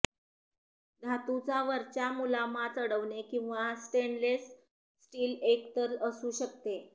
धातूचा वरच्या मुलामा चढवणे किंवा स्टेनलेस स्टील एकतर असू शकते